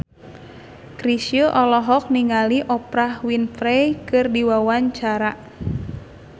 Chrisye olohok ningali Oprah Winfrey keur diwawancara